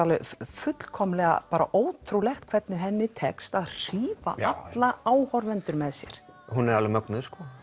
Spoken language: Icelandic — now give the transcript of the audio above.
fullkomlega ótrúlegt hvernig henni tekst að hrífa alla áhorfendur með sér hún er alveg mögnuð og